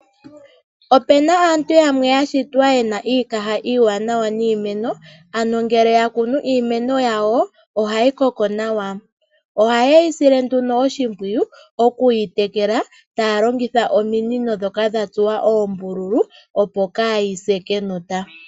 Opena aantu yamwe yashitwa yena iikaha iiwanawa niimeno ano ngele yakunu iimeno yawo ohayi koko nawa, oha yeyi shile nduno oshimpuwu okuyi tekela taalongitha nduno ominino ndhoka dhatsuwa oombululu opo kaayise kenota.